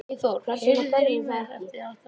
Eyþór, heyrðu í mér eftir átta mínútur.